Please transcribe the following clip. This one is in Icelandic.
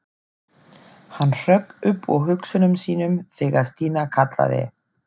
Hann hrökk upp úr hugsunum sínum þegar Stína kallaði.